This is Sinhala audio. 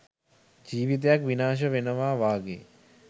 ජීවිතයක් විනාශ වෙනවා වගේ